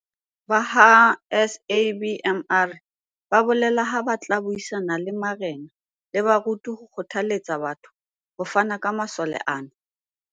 Ba ha SABMR ba bolela ha ba tla buisana le marena le baruti ho kgothaletsa batho ho fana ka masole ana.